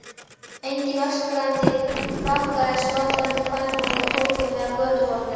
Engir öskrandi krakkar eða skvaldrandi kvenfólk á torgum eða götuhornum.